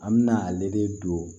An me na ale de don